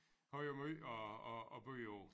Har jo måj at at at byde på